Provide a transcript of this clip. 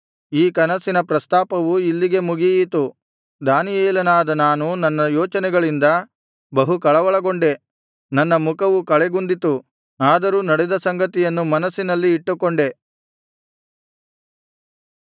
ಈ ಕನಸಿನ ಪ್ರಸ್ತಾಪವು ಇಲ್ಲಿಗೆ ಮುಗಿಯಿತು ದಾನಿಯೇಲನಾದ ನಾನು ನನ್ನ ಯೋಚನೆಗಳಿಂದ ಬಹು ಕಳವಳಗೊಂಡೆ ನನ್ನ ಮುಖವು ಕಳೆಗುಂದಿತು ಆದರೂ ನಡೆದ ಸಂಗತಿಯನ್ನು ಮನಸ್ಸಿನಲ್ಲಿ ಇಟ್ಟುಕೊಂಡೆ